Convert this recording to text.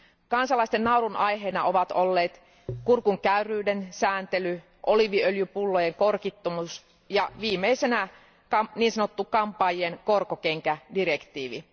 Kansalaisten naurun aiheena ovat olleet kurkun käyryyden sääntely, oliiviöljypullojen korkittomuus ja viimeisenä niin sanottu kampaajien korkokenkädirektiivi.